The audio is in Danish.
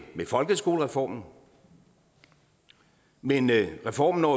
folkeskolereformen men reformen når